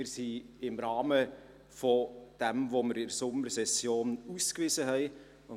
Wir befinden uns im Rahmen dessen, was wir in der Sommersession ausgewiesen haben.